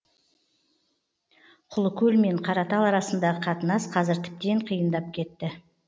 құлыкөл мен қаратал арасындағы қатынас қазір тіптен қиындап кетті